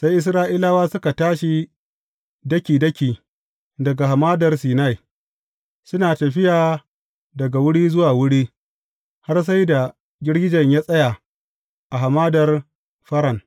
Sai Isra’ilawa suka tashi daki daki daga Hamadar Sinai, suna tafiya daga wuri zuwa wuri, har sai da girgijen ya tsaya a Hamadar Faran.